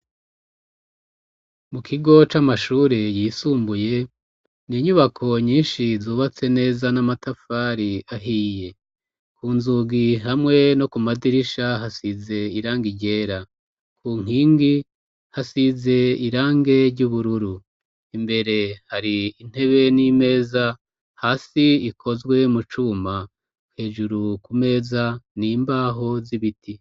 Mu kigo c'amashure yisumbuye n'inyubako nyishi zubatse neza n'amatafari ahiye ku nzugi hamwe no ku madirisha hasize irangi ryera ku nkingi hasize irangI ry'ubururu imbere hari intebe n'imeza hasi ikozwe mu cuma hejuru ku meza n'imbaho z'ibiti.